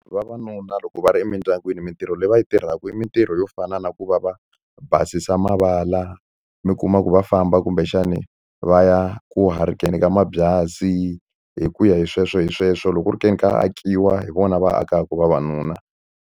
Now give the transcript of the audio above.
Vavanuna loko va ri emindyangwini mitirho leyi va i tirhaka i mitirho yo fana na ku va va basisa mavala mi kuma ku va famba kumbexani va ya ku hurikeni ka mabyasi hi ku ya hi sweswo hi sweswo loko ku ri ke ni ka akiwa hi vona va akaka vavanuna.